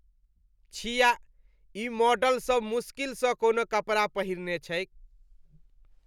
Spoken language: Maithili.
छिया! ई मॉडलसभ मुश्किल स कोनो कपड़ा पहिरने छैक।